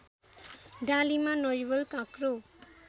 डालीमा नरिवल काँक्रो